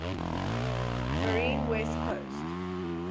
marine west coast